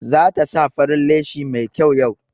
Za ta sa farin leshi mai kyau yau.